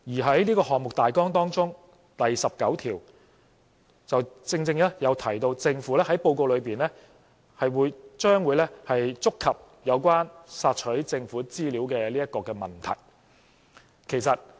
在這個項目大綱第十九條正正提到政府在報告裏，將會觸及有關"索取政府資料"的問題。